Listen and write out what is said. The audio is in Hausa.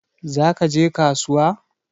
Za ka je kasuwa?